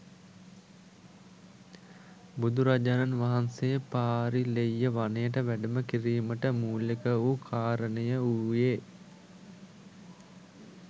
බුදුරජාණන් වහන්සේ පාරිල්‍යෙය වනයට වැඩම කිරීමට මූලික වූ කාරණය වූයේ